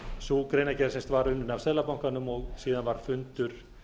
sú greinargerð var unnin af seðlabankanum og síðan var fundur